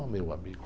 Oh, meu amigo.